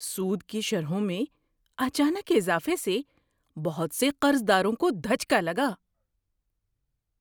سود کی شرحوں میں اچانک اضافے سے بہت سے قرضداروں کو دھچکا لگا۔